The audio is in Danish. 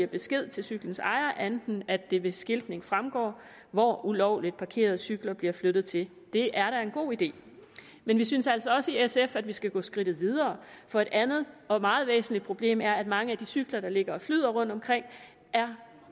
besked til cyklens ejer end at det ved skiltning fremgår hvor ulovligt parkerede cykler bliver flyttet til det er da en god idé men vi synes altså også i sf at man skal gå skridtet videre for et andet og meget væsentligt problem er at mange af de cykler der ligger og flyder rundtomkring er